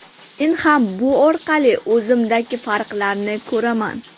Men ham bu orqali o‘zimdagi farqlarni ko‘raman.